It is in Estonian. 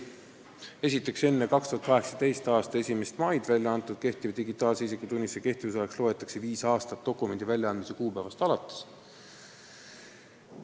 Esiteks, enne 2018. aasta 1. maid väljaantud kehtiva digitaalse isikutunnistuse kehtivusajaks loetakse viis aastat dokumendi väljaandmise kuupäevast alates.